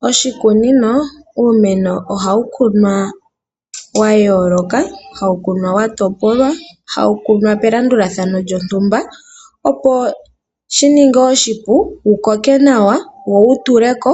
Moshikunino iimeno ohayi kunwa yayolokathana, hayikunwa yatopolwa no melandulathano lyontumba opo shininge oshipu, wo wukoke nawa wo wutule ko